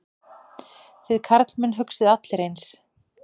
Þið karlmenn hugsið allir eins.